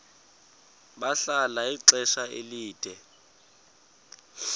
bahlala ixesha elide